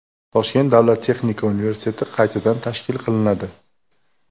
Toshkent davlat texnika universiteti qaytadan tashkil qilinadi.